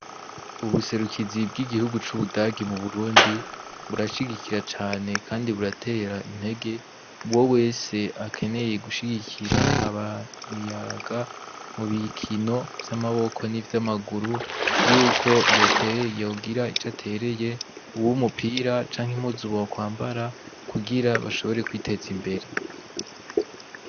Ubuserukizi bw'igihugu c’Ubudagi mu Burundi burashigikira cane kandi buratera intege uwo wese akeneye gushigikira imiyabaga mu bikino vy'amaboko n'ivyamaguru, yuko yoterera, yogira ico atereye, uw'umupira canke impuzu bo kwambara, kugira bashobore kwiteza imbere.